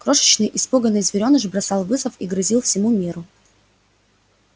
крошечный испуганный зверёныш бросал вызов и грозил всему миру